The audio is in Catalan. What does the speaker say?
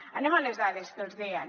anem a les dades que els deia